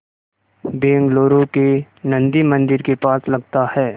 बेंगलूरू के नन्दी मंदिर के पास लगता है